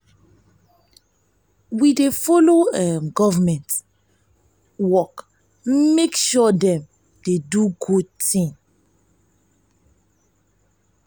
we dey folo um government work make sure dem um dey do good tin.